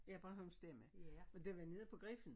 Ja Bornholms Stemme og det var nede på Griffen